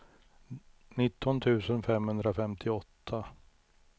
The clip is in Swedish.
nitton tusen femhundrafemtioåtta